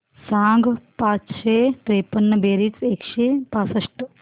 सांग पाचशे त्रेपन्न बेरीज एकशे पासष्ट